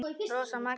Rósa Maggý.